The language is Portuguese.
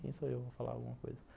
Quem sou eu, vou falar alguma coisa.